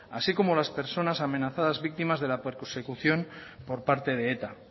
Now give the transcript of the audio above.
así como las personas amenazadas víctimas de la persecución por parte de eta